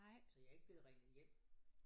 Så jeg ikke blevet ringet hjem